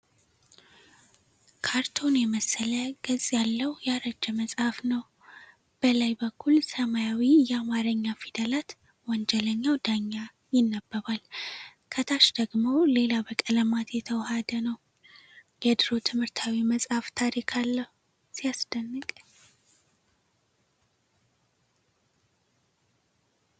ካርቶን የመሰለ ገጽ ያለው ያረጀ መጽሐፍ ነው። በላይ በኩል ሰማያዊ የአማርኛ ፊደላት 'ወንጀለኛው ዳኛ' ይነበባል። ከታች ደግሞ ሌላ በቀለማት የተዋሃደ ነው። "የድሮ ትምህርታዊ መጽሐፍ ታሪክ አለው፣ ሲያስደንቅ!"